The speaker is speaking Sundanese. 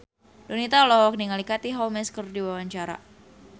Donita olohok ningali Katie Holmes keur diwawancara